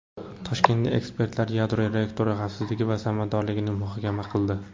Toshkentda ekspertlar yadro reaktorlari xavfsizligi va samaradorligini muhokama qildi.